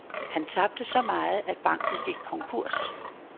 Han tabte så meget, at banken gik konkurs.